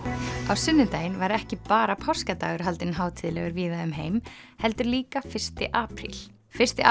á sunnudaginn var ekki bara páskadagur haldinn hátíðlegur víða um heim heldur líka fyrsti apríl fyrsti